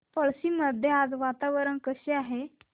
पळशी मध्ये आज वातावरण कसे आहे